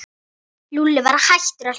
Lúlli var hættur að hlæja.